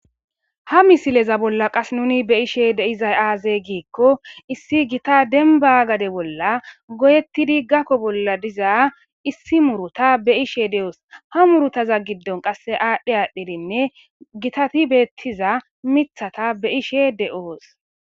Ha misileza bolla qas nuni be ishe de iza aaze giikko issi gita denba gade bolla goyettidi gakko bolla diza issi muruta be ishe de'oos ha murutaza giddon qasse aadhdhe aadhdhedinne gitati beettiza mithata beishe de'oos